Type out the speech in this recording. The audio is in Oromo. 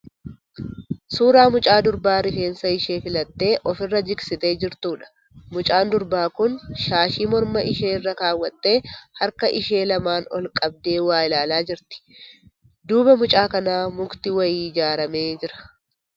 Suuraa mucaa durbaa rifeensa ishee filattee ofi irra jigsitee jirtuudha. Mucaan durbaa kun shaashii morma ishee irra kaawwattee harka isheen lamaan ol qabdee waa ilaalaa jirti. Duuba mucaa kanaa mukti wayii ijaaramee jira.